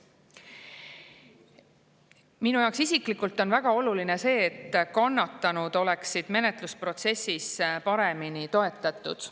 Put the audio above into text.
Minu jaoks isiklikult on väga oluline see, et kannatanud oleksid menetlusprotsessis paremini toetatud.